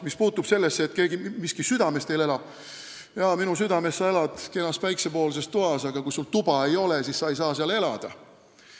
Mis puutub sellesse, et miski südames teil elab, siis jaa, "minu südames sa elad, kenas päiksepoolses toas", aga kui sul tuba ei ole, siis sa ei saa seal elada.